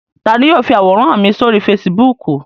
Ta ni yóò fi àwòrán mi sórí Facebook?